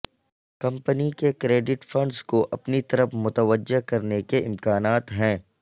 company کے credit funds کو اپنی طرف متوجہ کرنے کے امکانات ہیں